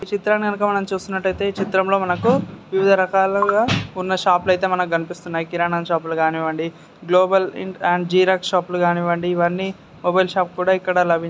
ఈ చిత్రం గనుక మనం చూసినట్టయిటే ఈ చిత్రంలో మనకు వివిధ రకాలుగా ఉన్న షాపులు అయితే కనిపిస్తున్నాయికిరాణా షాపులు కానివ్వండి గ్లోబల్ అండ్ జిరాక్స్ షాపులు కానివ్వండిఇవన్నీ మొబైల్ షాప్ ఇక్కడ లభించును.